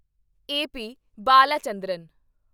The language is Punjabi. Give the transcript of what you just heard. ਏ. ਪੀ. ਬਾਲਾਚੰਦਰਨ